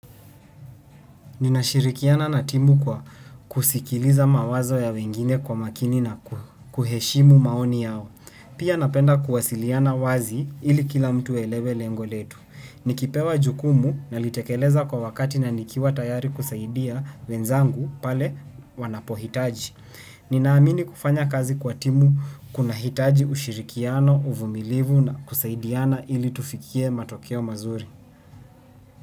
Ninashirikiana na timu kwa kusikiliza mawazo ya wengine kwa makini na kuheshimu maoni yao. Pia napenda kuwasiliana wazi ili kila mtu aelewe lengo letu. Nikipewa jukumu nalitekeleza kwa wakati na nikiwa tayari kusaidia wenzangu pale wanapohitaji. Ninaamini kufanya kazi kwa timu kunahitaji ushirikiano, uvumilivu na kusaidiana ili tufikie matokeo mazuri.